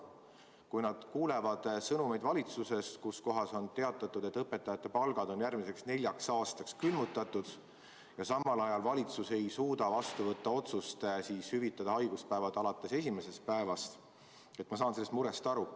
Kui nad kuulevad valitsusest sõnumeid, et õpetajate palgad on järgmiseks neljaks aastaks külmutatud, ja samal ajal valitsus ei suuda langetada otsust hüvitada haiguspäevad alates esimesest päevast, siis ma saan sellest murest aru.